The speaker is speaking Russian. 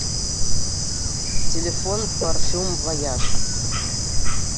телефон парфюм вояж